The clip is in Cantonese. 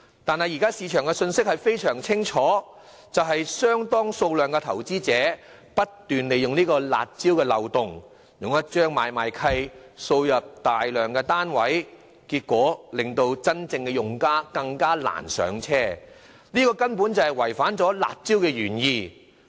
但是，現時市場的信息非常清楚，就是有相當數量的投資者不斷利用這個"辣招"漏洞，以一張買賣契約大舉購入大量單位，結果令真正用家更難"上車"，這根本違反了"辣招"的原意。